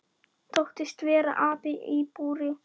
Þóttist vera api í búri.